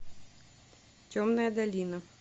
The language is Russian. темная долина